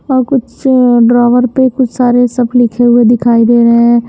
और कुछ ड्राइवर पे कुछ सारे सब लिखे हुए दिखाई दे रहे हैं।